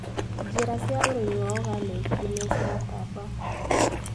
Njĩra cia ũrĩmi wa oganĩki nĩciratamba.